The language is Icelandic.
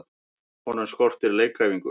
Honum skortir leikæfingu.